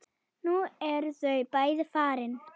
Nú eru þau bæði farin.